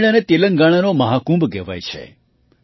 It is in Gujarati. આ મેળાને તેલંગાણાનો મહાકુંભ કહેવાય છે